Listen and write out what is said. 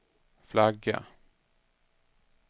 flagga